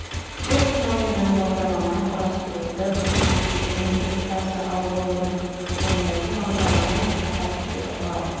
бұл технология жаңа бағдарламаны құрастыруды қажет етпейді және интерпретация ал оны орындайтын бағдарлама интерпретатор деп аталады